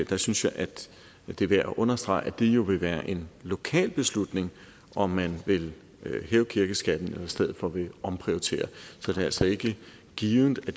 der synes jeg at det er værd at understrege at det jo vil være en lokal beslutning om man vil hæve kirkeskatten eller i stedet for vil omprioritere så det er altså ikke givet at